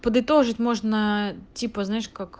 подытожить можно типа знаешь как